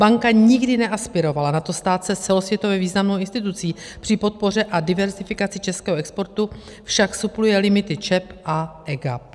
Banka nikdy neaspirovala na to stát se celosvětově významnou institucí, při podpoře a diverzifikaci českého exportu však supluje limity ČEB a EGAP.